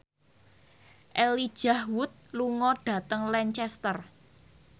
Elijah Wood lunga dhateng Lancaster